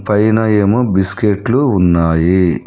పైన ఏమో బిస్కెట్లు ఉన్నాయి.